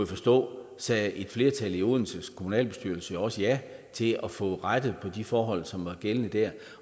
forstå sagde et flertal i odenses kommunalbestyrelse også ja til at få rettet op på de forhold som var gældende der